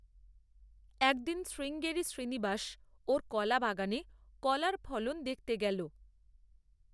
একদিন শ্রীঙ্গেরি শ্রীনিবাস ওর কলা বাগানে কলার ফলন দেখতে গেল।